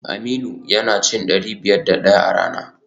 Aminu yana cin dari biyar da daya a rana